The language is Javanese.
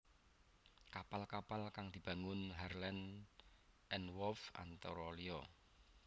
Kapal kapal kang dibangun Harland and Wolff antara liya